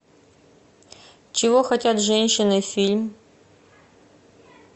чего хотят женщины фильм